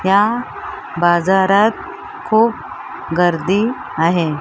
त्या बाजारात खूप गर्दी आहे.